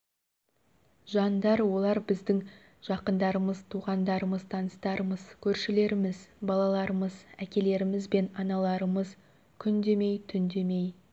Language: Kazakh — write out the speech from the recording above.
жандар олар біздің жақындарымыз туғандарымыз таныстарымыз көршілеріміз балаларымыз әкелеріміз бен аналарымыз күн демей түн демей